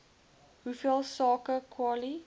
hoeveel sake kwali